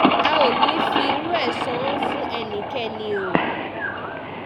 a ò ní í fi irú ẹ̀ san án fún ẹnikẹ́ni o